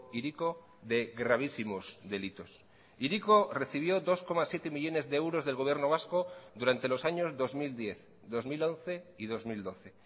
hiriko de gravísimos delitos hiriko recibió dos coma siete millónes de euros del gobierno vasco durante los años dos mil diez dos mil once y dos mil doce